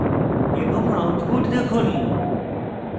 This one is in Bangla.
এবং output দেখুন